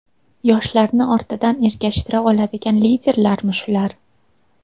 Yoshlarni ortidan ergashtira oladigan liderlarmi shular?